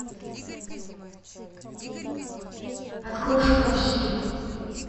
открой шкаф сири